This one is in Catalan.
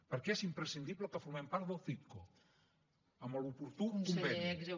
perquè és imprescindible que formem part del citco amb l’oportú conveni